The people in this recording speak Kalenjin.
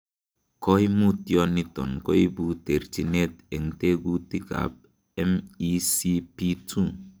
Koimutioniton koibu terchinet en tekutikab MECP2.